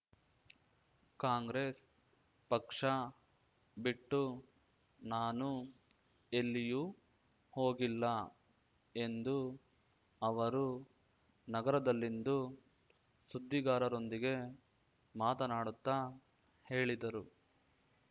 ಕಾಂಗ್ರೆಸ್ ಪಕ್ಷ ಬಿಟ್ಟು ನಾನು ಎಲ್ಲಿಯೂ ಹೋಗಿಲ್ಲ ಎಂದು ಅವರು ನಗರದಲ್ಲಿಂದು ಸುದ್ದಿಗಾರರೊಂದಿಗೆ ಮಾತನಾಡುತ್ತ ಹೇಳಿದರು